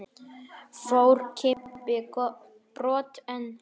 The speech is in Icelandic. Fór Kimbi brott en